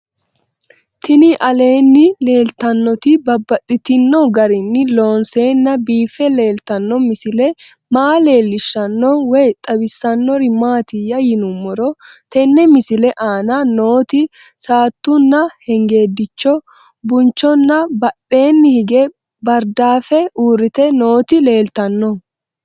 Tinni aleenni leelittannotti babaxxittinno garinni loonseenna biiffe leelittanno misile maa leelishshanno woy xawisannori maattiya yinummoro tenne misile aanna nootti saattunna hengedicho, bunichonna badheenni hige baaridaaffe uuritte nootti leelittanno